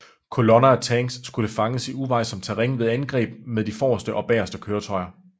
Kolonner af tanks skulle fanges i uvejsomt terræn ved angreb med de forreste og bageste køretøjer